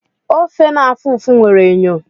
Ofe na-afụ ụfụ nwere enyo.